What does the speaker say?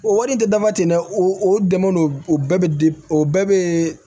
O wari tɛ dama tɛ dɛ o o dɛmɛ don o bɛɛ bɛ o bɛɛ bɛ